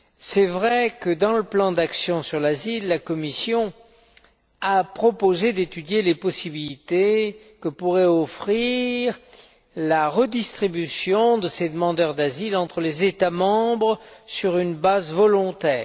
C'est vrai que dans le plan d'action sur l'asile, la Commission a proposé d'étudier les possibilités que pourrait offrir la répartition de ces demandeurs d'asile entre les États membres sur une base volontaire.